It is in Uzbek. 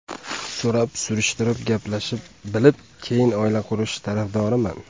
So‘rab-surishtirib, gaplashib, bilib, keyin oila qurish tarafdoriman.